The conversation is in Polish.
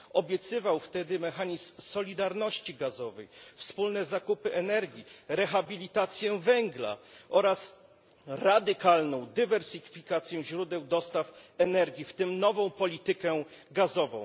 Obiecywał wtedy mechanizm solidarności gazowej, wspólne zakupy energii, rehabilitację węgla oraz radykalną dywersyfikację źródeł dostaw energii, w tym nową politykę gazową.